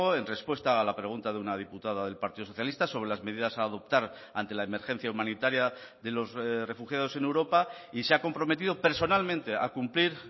en respuesta a la pregunta de una diputada del partido socialista sobre las medidas a adoptar ante la emergencia humanitaria de los refugiados en europa y se ha comprometido personalmente a cumplir